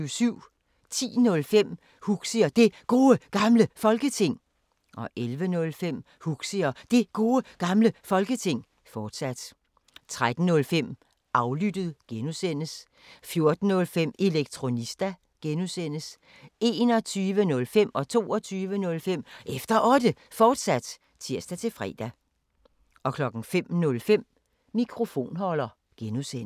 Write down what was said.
10:05: Huxi og Det Gode Gamle Folketing 11:05: Huxi og Det Gode Gamle Folketing, fortsat 13:05: Aflyttet G) 14:05: Elektronista (G) 21:05: Efter Otte, fortsat (tir-fre) 22:05: Efter Otte, fortsat (tir-fre) 05:05: Mikrofonholder (G)